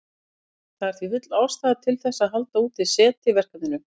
Það er því full ástæða til þess að halda úti SETI-verkefni.